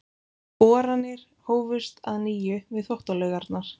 Boranir hófust að nýju við Þvottalaugarnar.